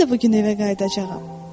Mən də bu gün evə qayıdacağam.